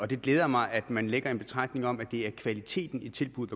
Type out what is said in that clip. det glæder mig at man lægger en betragtning om at det er kvaliteten i tilbuddet